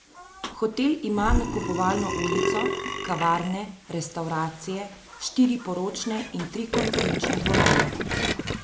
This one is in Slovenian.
Hotel ima nakupovalno ulico, kavarne, restavracije, štiri poročne in tri konferenčne dvorane.